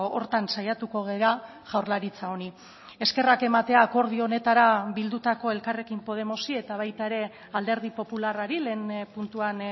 horretan saiatuko gara jaurlaritza honi eskerrak ematea akordio honetara bildutako elkarrekin podemosi eta baita ere alderdi popularrari lehen puntuan